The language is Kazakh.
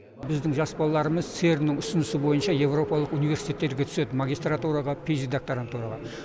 біздің жас балаларымыз церн нің ұсынысы бойынша еуропалық университеттерге түседі магистратураға пищди докторантураға